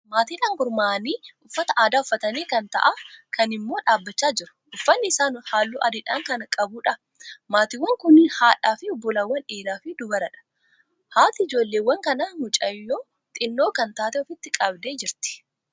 Maatiidhaan gurmaa'anii uffata aadaa uffatanii kaan taa'aa, kaan immoo dhaabbachaa jiru. Uffanni isaanii halluu adiidha kan qabuudha. Maatiiwwan kunniin haadhaa fi obbolaawwan dhiiraa fi dubaraadha. Haati ijoolleewwan kanaa mucayyoo xinnoo kan taate ofitti qabdee jirti.